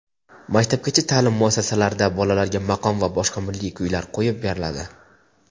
maktabgacha ta’lim muassasalarida bolalarga maqom va boshqa milliy kuylar qo‘yib beriladi.